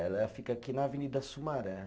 Ela fica aqui na Avenida Sumaré.